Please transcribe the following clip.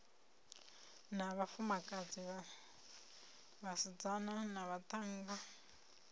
na vhafumakadzi vhasidzana na vhaṱhannga